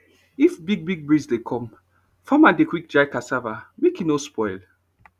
if big big breeze dey come farmer dey quick dry cassava make e no spoil